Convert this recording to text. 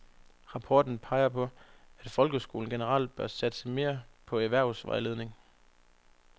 Rapporten peger på, at folkeskolen generelt bør satse mere på erhvervsvejledning.